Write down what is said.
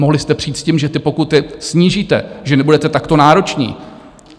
Mohli jste přijít s tím, že ty pokuty snížíte, že nebudete takto nároční.